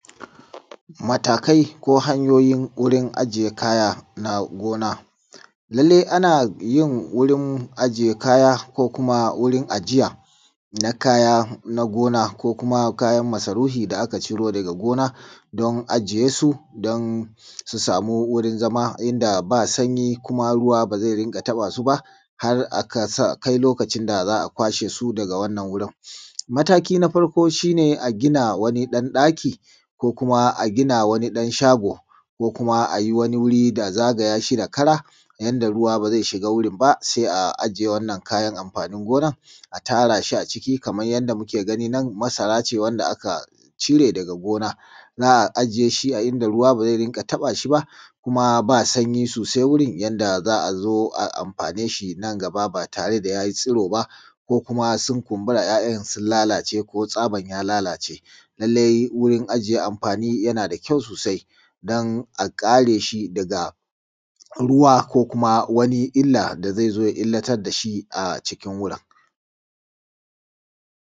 Matakai ko hanyoyin wurin ajiye kayan gona. Lallai ana yi wurin ajiye kaya ko kuma wurin ajiya na kaya na gona ko kuma kayan masarufi da aka ciro daga gona don su sama wurin zama inda ba sanyi kuna ruwa ba zai rinƙa taɓa su ba har a kai lokacin da za a kwashe su daga wannan wurin. Mataki na farko shi ne a gina wani ɗan ɗaki ko kuma a gina wani ɗan shago ko kuma a kewayen shi da kara yadda ruwa ba zai shiga wurin ba sai a ajiye kayan amfanin gona a tara shi kamar yadda muke gani nan masara ce wacce aka cire a gona aka ajiye a inda ruwa ba zai riƙa taɓa shi kuma ba sanyi sosai wurin yadda za a zo a amfane shi nan gaba ba tare da ya yi tsuro ba ko kuma sun kunbura 'ya'yan sun lalace ko tsabar ya lalace. Lallai wurin ajiye amfani yana da ƙyau sosai don a kare shi daga ruwa ko wani illa da zo ya illatar da shi a cikin wurin.